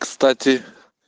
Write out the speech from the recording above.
кстати